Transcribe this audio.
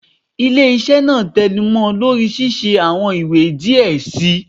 Ile-iṣẹ naa tẹnumọ lori ṣiṣe awọn iwe diẹ sii